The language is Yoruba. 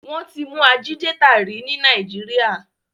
Wón tí mú Ajídétà rí ní Nàìjíríà.